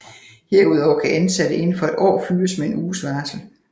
Herudover kan ansatte inden for et år fyres med en uges varsel